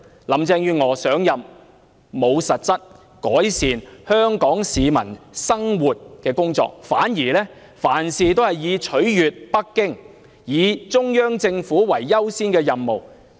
林鄭月娥上任後沒有進行實質改善香港市民生活的工作，反而凡事皆以取悅北京中央政府為優先任務。